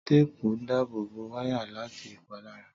Téèpù ń dábò bó wáyà láti ìpalára